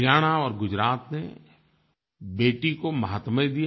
हरियाणा और गुजरात ने बेटी को माहात्म्य दिया